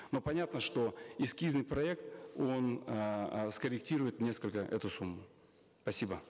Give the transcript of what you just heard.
но понятно что эскизный проект он эээ скорректирует несколько эту сумму спасибо